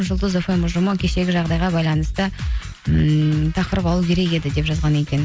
жұлдыз фм ұжымы кешегі жағдайға байланысты ммм тақырып алу керек еді деп жазған екен